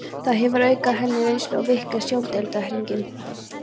Það hefur aukið honum reynslu og víkkað sjóndeildarhringinn.